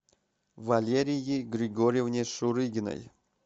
валерии григорьевне шурыгиной